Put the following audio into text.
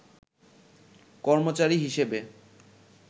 কর্মচারী হিসেবে